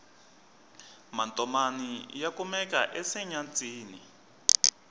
matomani ya kumeka ensenyatsini